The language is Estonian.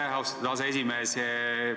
Aitäh, austatud aseesimees!